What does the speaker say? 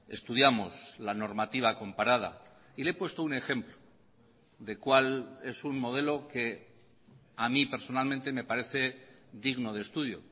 estudiamos la normativa comparada y le he puesto un ejemplo de cuál es un modelo que a mí personalmente me parece digno de estudio